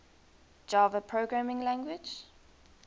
java programming language